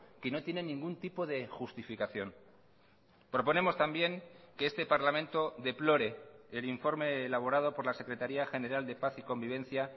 que no tiene ningún tipo de justificación proponemos también que este parlamento deplore el informe elaborado por la secretaría general de paz y convivencia